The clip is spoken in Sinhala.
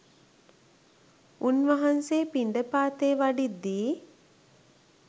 උන්වහන්සේ පිණ්ඩපාතේ වඩිද්දී